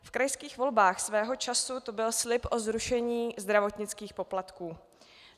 V krajských volbách svého času to byl slib o zrušení zdravotnických poplatků.